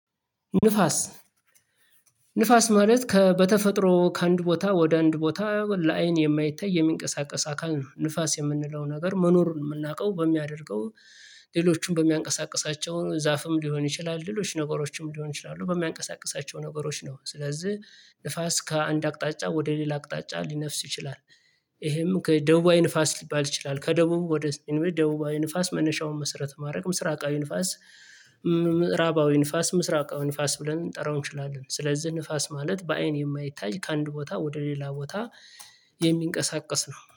ንፋስ ንፋስ ማለት ከ በተፈጥሮ ከአንድ ቦታ ወደ አንድ ቦታ ለአይን የማይታይ የሚንቀሳቀስ አካል ነው። ንፋስ የምንለው ነገር መኖሩን የምናውቀው በሚያደርገው ሌሎችንም በሚያንቀሳቅሳቸው ዛፍም ሊሆን ይችላል ሌሎች ነገሮችም ሊሆን ይችላሉ በሚያንቀሳቅሳቸው ነገሮች ነው። ስለዚህ ንፋስ ከአንድ አቅጣጫ ወደ ሌላ አቅጣጫ ሊነፍስ ይችላል። ይሄም ከደቡባዊ ንፋስ ሊባል ይችላል ከደቡብ ወደ ሰሜን ደቡባዊ ንፋስ መነሻውን መሰረት ማድረግ ምስራቃዊ ንፋስ። ምዕራባዊ ንፋስ ምስራቃዊ ንፋስ ብለን እንጠራው እንችላለን። ስለዚህ ንፋስ ማለት በአይን የማይታይ ከአንድ ቦታ ወደ ሌላ ቦታ የሚንቀሳቀስ ነው